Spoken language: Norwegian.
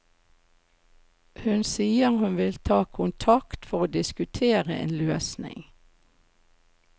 Hun sier hun vil ta kontakt for å diskutere en løsning.